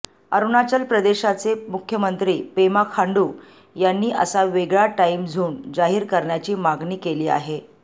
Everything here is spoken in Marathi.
अरुणाचल प्रदेशाचे मुख्यमंत्री पेमा खांडू यांनी असा वेगळा टाईम झोन जाहीर करण्याची मागणी केलेली आहे